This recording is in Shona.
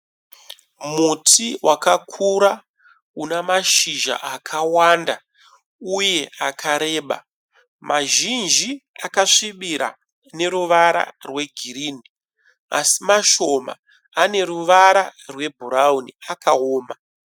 Muti wakakura una mashizha akawanda uye akareba mazhinji akasvibira neruwara rwe girini asi mashoma ane ruwara rwe bhuraunu akaoma.